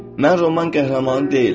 Mən roman qəhrəmanı deyiləm.